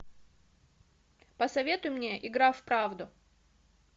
посоветуй мне игра в правду